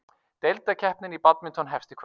Deildakeppnin í badminton hefst í kvöld